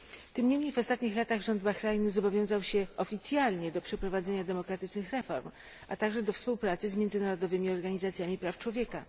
Tym niemniej w ostatnich latach rząd Bahrajnu zobowiązał się oficjalnie do przeprowadzenia demokratycznych reform, a także do współpracy z międzynarodowymi organizacjami praw człowieka.